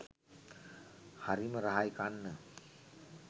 හරිම රහයි කන්න.